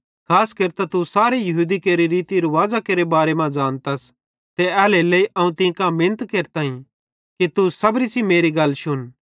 खास केरतां तू सारे यहूदी केरि रीति रुवाज़ेरे बारे मां ज़ानतस ते एल्हेरेलेइ अवं तीं कां मिनत केरताईं कि तू सबरी सेइं मेरी गल शुन